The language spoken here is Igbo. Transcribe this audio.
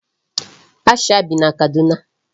Aisha bi na Kaduna.